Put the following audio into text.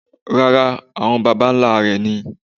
Rárá, àwọn baba nlá rẹ̀ ni.